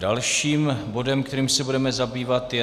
Dalším bodem, kterým se budeme zabývat, je